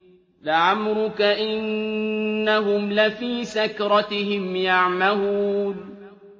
لَعَمْرُكَ إِنَّهُمْ لَفِي سَكْرَتِهِمْ يَعْمَهُونَ